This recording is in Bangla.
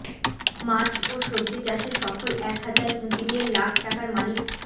মাছ ও সবজি চাষে সফল এক হাজার পুঁজি দিয়ে লাখ টাকার মালিক